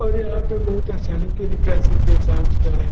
और यहाँ पे बहुत असानी तरीका से पैसा उठता है ।